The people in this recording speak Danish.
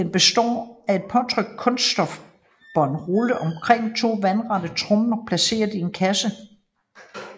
Den består af et påtrykt kunststofbånd rullet omkring to vandrette tromler placeret i en kasse